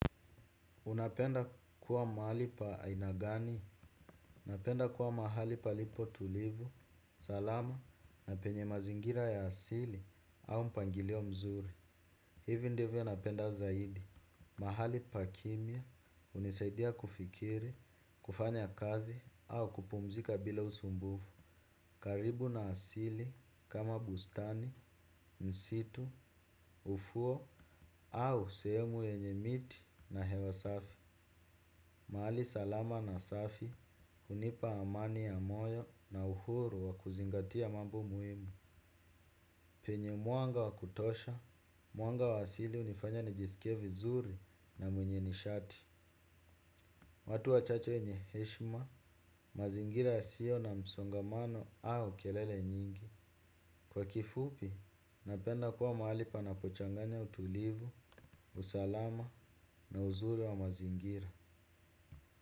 Unapenda kuwa mahali pa aina gani, napenda kuwa mahali palipo tulivu, salama na penye mazingira ya asili au mpangilio mzuri. Hivi ndivyo napenda zaidi, mahali pa kimya, unisaidia kufikiri, kufanya kazi au kupumzika bila usumbufu. Karibu na asili kama bustani, msitu, ufuo au sehemu yenye miti na hewa safi. Mahali salama na safi, hunipa amani ya moyo na uhuru wa kuzingatia mambo muhimu. Penye mwanga wa kutosha, mwanga wa asili unifanya nijisikie vizuri na mwenye nishati. Watu wachache wenye heshima, mazingira yasio na msongamano au kelele nyingi. Kwa kifupi, napenda kuwa mahali panapochanganya utulivu, usalama na uzuri wa mazingira.